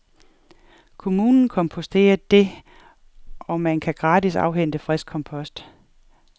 Kommunen komposterer det, og man kan gratis afhente frisk kompost.